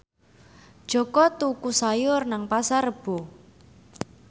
Jaka tuku sayur nang Pasar Rebo